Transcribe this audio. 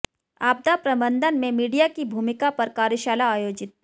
आपदा प्रबंधन में मीडिया की भूमिका पर कार्यशाला आयोजित